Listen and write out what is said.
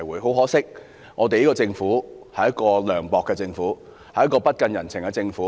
很可惜，這個政府是一個涼薄的政府，一個不近人情的政府。